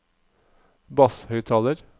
basshøyttaler